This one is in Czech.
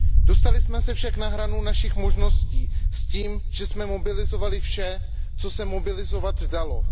Dostali jsme se však na hranu našich možností s tím, že jsme mobilizovali vše, co se mobilizovat dalo.